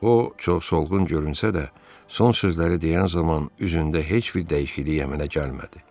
O çox soyuqqanlı görünsə də, son sözləri deyən zaman üzündə heç bir dəyişiklik əmələ gəlmədi.